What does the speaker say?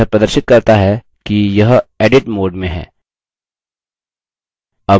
यह प्रदर्शित करता है कि यह edit mode में है